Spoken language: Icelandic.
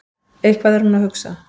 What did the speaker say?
Eitthvað er hún að hugsa.